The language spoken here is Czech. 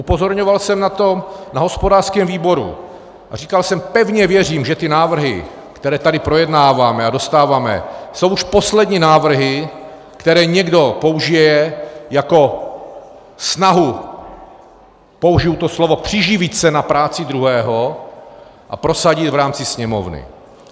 Upozorňoval jsem na to na hospodářském výboru a říkal jsem, pevně věřím, že ty návrhy, které tady projednáváme a dostáváme, jsou už poslední návrhy, které někdo použije jako snahu - použiji to slovo - přiživit se na práci druhého a prosadit v rámci Sněmovny.